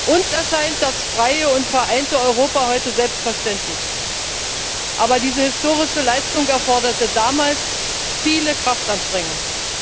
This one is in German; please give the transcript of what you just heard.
Uns erscheint das freie und vereinte Europa heute selbstverständlich. Aber diese historische Leistung erforderte damals viele Kraftanstrengungen.